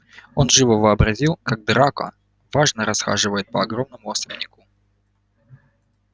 он живо вообразил как драко важно расхаживает по огромному особняку